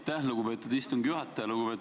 Aitäh, lugupeetud istungi juhataja!